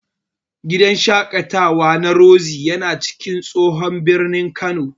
Gidan shaƙatawa na Roxy yana cikin tsohon birnin Kano.